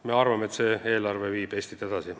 Me arvame, et see eelarve viib Eestit edasi.